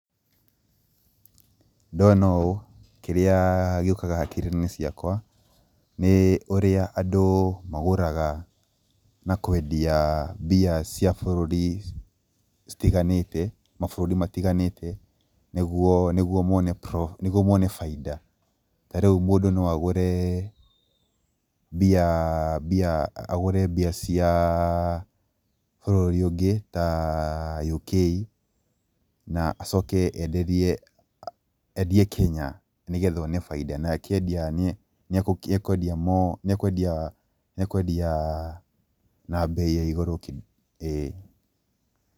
Ndona ũũ kĩrĩa gĩũkaga hakiri-inĩ ciakwa nĩ ũrĩa andũ magũraga na kwendia mbia cia bũrũri citiganĩte, mabũrũri matiganĩte nĩguo mone bainda. Tarĩu mũndũ no agũre mbia, mbia, agũre mbia cia bũrũri ũngĩ ta UK na acoke enderie, endie Kenya nĩgetha one bainda. Na akĩendia ni ekũendia, ni ekuendia na mbei ya igũrũ ĩĩ.